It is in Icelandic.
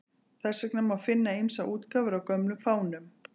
Þess vegna má finna ýmsar útgáfur af gömlum fánum.